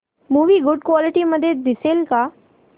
movie good quality मध्ये दिसेल का